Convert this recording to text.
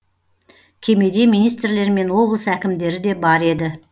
кемеде министрлер мен облыс әкімдері де бар еді